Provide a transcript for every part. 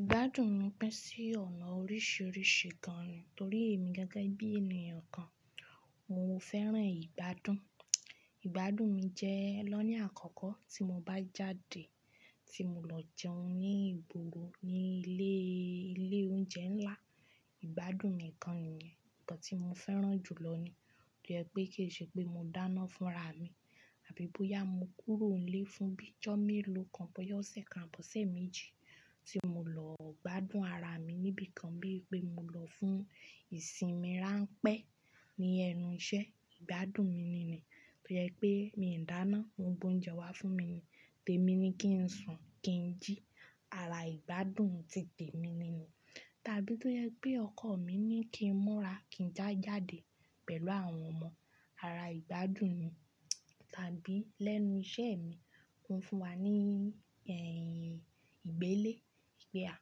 Ìgbádùn mi pín sí ọ̀nà oríṣiríṣi gan ni, torí èmi gẹ́gẹ́ bí ènìyàn kan, mo fẹ́ràn ìgbádùn. Ìgbádùn mi jẹ́ lọ́na àkọ́kọ́ tí mo bá jáde, tí mo lọ jẹun ní ìbògbòro ní ilé oúnjẹ ńlá, ìgbádùn mi kan nìyẹn. Nkan tí mo fẹ́ràn jù lọ ni, tó jẹ́ pé kì í ṣe pé mo dáná fún ara mi, àbí bóyá mo kúrò nílé fún bí ọjọ́ mélòó kan, bóyá ọ̀sẹ̀ kan, bóyá ọ̀sẹ̀ méjì, tí mo lọ gbádùn ara mi níbi kan bí i pé mo lọ fún ìsinmi ránpẹ́ ní ẹnu iṣẹ́, ìgbádùn mi ni ni, tó jẹ́ pé mi ò dáná, wọ́n gbé oúnjẹ wá fún mi ni, té mi ni kí n sùn, kí n jí, ara ìgbádùn ti tè mi ni ni. Tàbí tó jẹ́ pé ọkọ̀ mi ní kí n múra, kí n já jáde pẹ̀lú àwọn ọmọ, ara ìgbádùn ni. Tàbí lẹ́nu iṣẹ́ mi, wọ́n fún wa ní ẹ̀yìn ìgbélé pé a,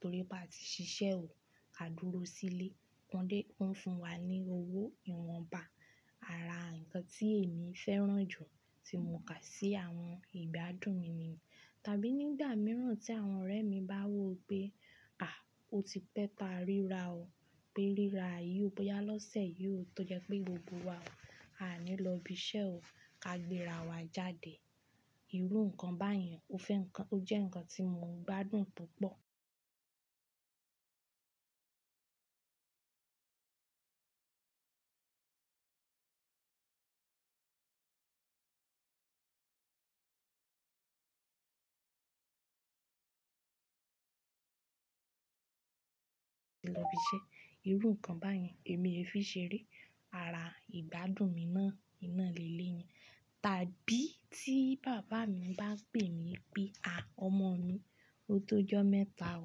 torí pé a ti ṣiṣẹ́ ò, ká dúró sílé, wọ́n dé, wọ́n fún wa ní owó ìwọ̀nba, ara nǹkan tí èmi fẹ́ràn jù tí mo kà sí àwọn ìgbádùn mi ni. Tàbí nígbà mìíràn tí àwọn ọ̀rẹ́ mi bá wo pé "à, o ti pẹ́ ta rírà o, pé rírà yìí ó bóyá lọ́sẹ̀ yìí o, tó jẹ́ pé gbogbo wa o, a ní lọ ibi iṣẹ́ o, ká gbéra wa jáde." Irú nǹkan báyẹn ó fẹ́ nǹkan, ó jẹ́ nǹkan tí mo ń gbádùn púpọ̀. Ti lọ ibi iṣẹ́, irú nǹkan báyẹn èmi è fi ṣeré, ara ìgbádùn mi náà nà líle ni. Tàbí tí bàbá mi bá pè mí pé "à, ọmọ mi, o tó ọjọ́ mẹ́ta o,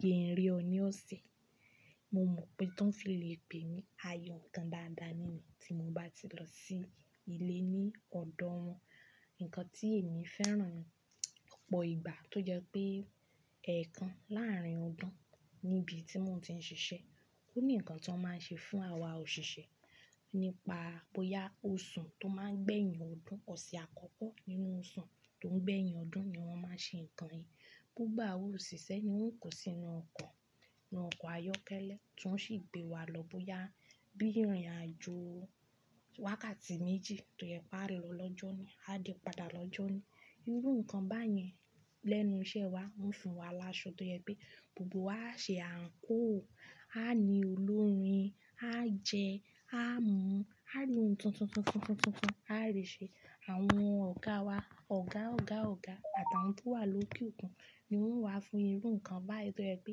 jé n ri ọ ní ọ̀sẹ̀." Mo mọ̀ pé tán fi lè pè mí, ayọ̀ nǹkan dáadáa ni ni, tí mo bá ti lọ sí ilé ní ọ̀dọ̀ wọn. Nǹkan tí èmi fẹ́ràn púpọ̀ ìgbà tó jẹ́ pé, ẹ̀ẹ̀kan láàrin ọdún níbi tí mò ń ti ń ṣiṣẹ́, ó ní nǹkan tó máa ń ṣe fún àwa òṣìṣẹ́, nípa bóyá oṣù tó máa ń gbé yín ọdún, ọ̀sẹ̀ àkọ́kọ́ nínú oṣù tó ń gbé yín ọdún ni wọ́n máa ṣe nǹkan yìí. Púpọ̀ àwọn òṣìṣẹ́ ni wọ́n kó sínú ọkọ̀, inú ọkọ̀ ayọ́kẹ́lẹ́, ti won sì gbé wa lọ bóyá bí ìrìnàjò wákàtí méjì tó yẹ kó a lọ lọ́jọ́ ni, a dé padà lọ́jọ́ na. Irú nǹkan báyẹn lẹ́nu iṣẹ́ wa, wọ́n fún wa l'áso tó jẹ pé gbogbo wa ó ṣe àǹkóò, a ní olórin, á jẹ, á mú, á ri oun tuntun tuntun tuntun tuntun tuntun tuntun, á rìn ṣe. Àwọn ọ̀gáa wa, ọ̀gá ọ̀gá ọ̀gá àtàwọn tó wà lókè òkun ni wọ́n wá fún irú nǹkan báyìí tó yẹ pé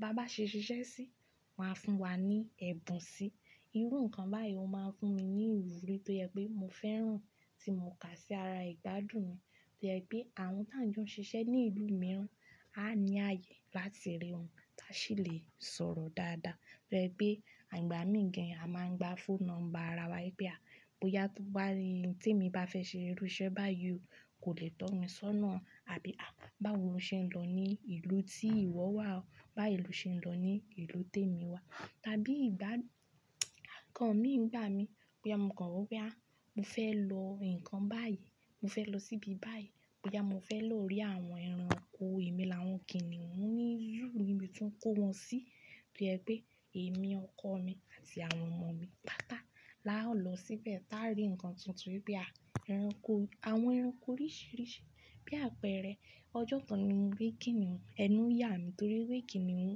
bá bá ṣe ṣiṣẹ́ sí, wọ́n á fún wa ní ẹ̀bùn sí. Irú nǹkan báyìí ó máa ń fún mi ní ìwúrí tó yẹ pé mo fẹ́ràn tí mo kà sí ara ìgbádùn mi. Tó yẹ pé àwọn tí àń jọ ń ṣiṣẹ́ ní ìlú mìíràn á ní ààyè láti rí wọn, tá sì lè sọ̀rọ̀ dáadáa. Tó yẹ pé àìgbà míì gan, a máa ń gba phone number ara wa pé a, bóyá tó bá rí ohun tí èmi bá fẹ́ ṣe irú iṣẹ́ báyìí o, kò lè tọ́ mi sọ́nà. Àbí "à, báwo ṣe ń lọ ní ìlú tí ìwọ wà o? Bá lo ṣe ń lọ ní ìlú tí èmi wà?" Tàbí ìgbá nǹkan mìíràn gbà mí, bóyá mo kàn wọ́ pé "à, mo fẹ́ lọ nǹkan báyìí, mo fẹ́ lọ síbi báyìí, bóyá mo fẹ́ lọ rí àwọn ẹranko" èmi làwọn kìnnìún ni zóò nibi ti won kó wọn sí. Tó yẹ pé èmi, ọkọ mi àti àwọn ọmọ mi pátá la ó lọ síbẹ̀ tá rí nǹkan tuntun pé a, ẹranko, àwọn ẹranko oríṣìíríṣìí. Bí àpẹẹrẹ ọjọ́ kan ni mo kìnnìún, ẹnu yà mi torí pé kìnnìún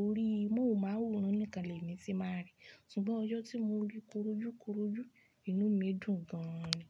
orí, mohun máwòran níkan lẹ̀ mi tí n màá rí. Ṣùgbọ́n ọjọ́ tí mo rí korojúkorojú, inú mi dùn gan ni.